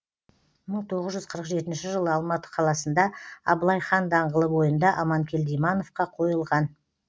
мың тоғыз жүз қырық жетінші жылы алматы қаласында абылай хан даңғылы бойында аманкелді имановқа койылған